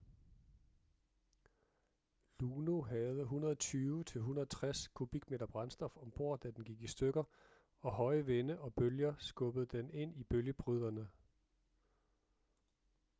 luno havde 120-160 kubikmeter brændstof om bord da den gik i stykker og høje vinde og bølger skubbede den ind i bølgebryderne